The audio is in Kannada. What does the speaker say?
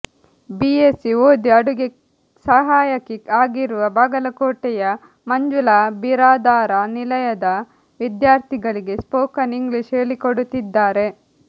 ಬಿಎಸ್ಸಿ ಓದಿ ಅಡುಗೆ ಸಹಾಯಕಿ ಆಗಿರುವ ಬಾಗಲಕೋಟೆಯ ಮಂಜುಳಾ ಬಿರಾದಾರ ನಿಲಯದ ವಿದ್ಯಾರ್ಥಿಗಳಿಗೆ ಸ್ಪೋಕನ್ ಇಂಗ್ಲಿಷ್ ಹೇಳಿಕೊಡುತ್ತಿದ್ದಾರೆ